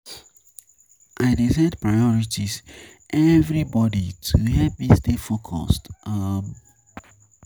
I dey set priorities every morning to help me stay focused. um